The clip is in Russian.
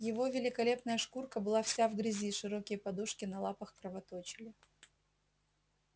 его великолепная шкурка была вся в грязи широкие подушки на лапах кровоточили